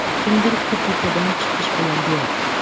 Kimdir KPPdan chiqish bilan deyapti.